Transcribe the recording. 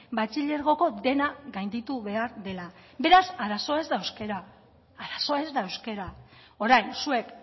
batxilergoko dena gainditu behar dela beraz arazoa ez da euskara arazoa ez da euskara orain zuek